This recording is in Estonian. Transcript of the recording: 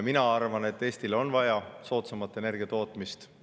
Mina arvan, et Eestile on vaja soodsamat energiatootmist.